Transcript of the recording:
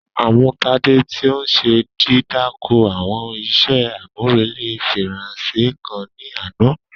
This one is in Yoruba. A mu Tade ti o n ṣe didakọ awọn iṣẹ amurele Faranse kan ni ana.